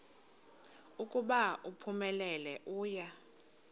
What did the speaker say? ukuba uphumelele uya